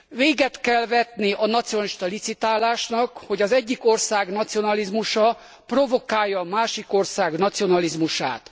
Véget kell vetni a nacionalista licitálásnak, hogy az egyik ország nacionalizmusa provokálja a másik ország nacionalizmusát.